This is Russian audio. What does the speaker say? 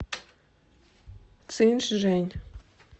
цинчжэнь